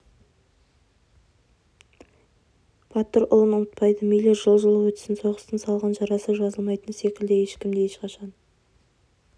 батыр ұлын ұмытпайды мейлі жыл жыл өтсін соғыстың салған жарасы жазылмайтыны секілді ешкім де ешқашан